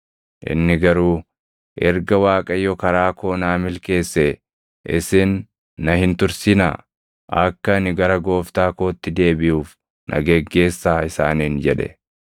Inni garuu, “Erga Waaqayyo karaa koo naa milkeessee isin na hin tursinaa; akka ani gara gooftaa kootti deebiʼuuf na geggeessaa” isaaniin jedhe.